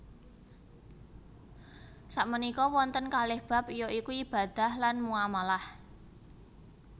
Sakmenika wonten kalih bab ya iku ibadah lan muamalah